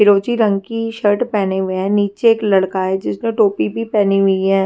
रंग की शर्ट पेहने हुए है नीचे एक लड़का है जिसने टोपी भी पेहनी हुई है।